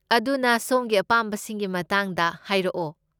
ꯑꯗꯨꯅ, ꯁꯣꯝꯒꯤ ꯑꯄꯥꯝꯕꯁꯤꯡꯒꯤ ꯃꯇꯥꯡꯗ ꯍꯥꯏꯔꯛꯑꯣ꯫